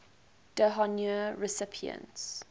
d honneur recipients